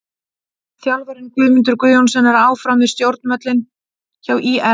Þjálfarinn: Guðmundur Guðjónsson er áfram við stjórnvölinn hjá ÍR.